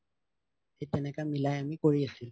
থিক তেনেকা মিলাই আমি কৰি আছিলো